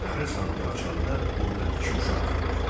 Qarı sandığı açanda burda iki uşaq görür.